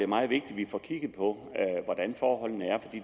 meget vigtigt vi får kigget på hvordan forholdene